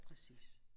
Præcis